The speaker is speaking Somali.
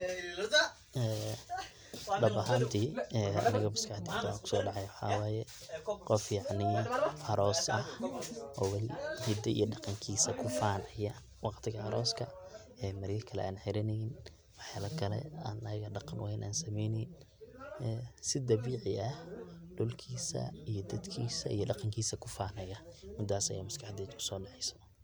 #NAME?